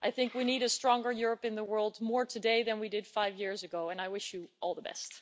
I think we need a stronger Europe in the world more today than we did five years ago, and I wish you all the best.